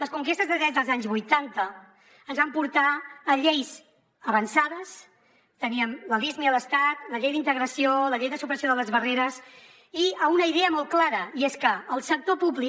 les conquestes de drets dels anys vuitanta ens van portar a lleis avançades teníem la lismi a l’estat la llei d’integració la llei de supressió de les barreres i a una idea molt clara i és que el sector públic